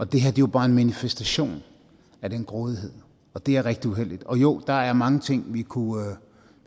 det her er jo bare en manifestation af den grådighed og det er rigtig uheldigt jo der er mange ting vi kunne